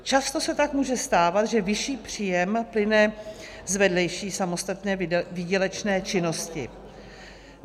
Často se tak může stávat, že vyšší příjem plyne z vedlejší samostatné výdělečné činnosti.